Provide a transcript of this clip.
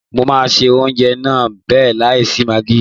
Mo máa se oúnjẹ náà bẹ́ẹ̀ láì sí magí.